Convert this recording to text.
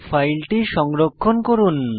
ফাইলটি সংরক্ষণ করুন